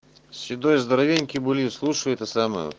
седой здоровеньки були слушай это самое